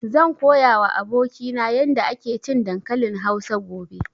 Zan koya wa abokina yarda ake cin dankalin Hausa gobe